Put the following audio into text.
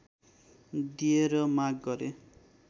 दिए र माग गरे